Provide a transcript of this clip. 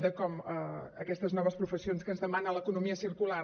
de com aquestes noves professions que ens demana l’economia circular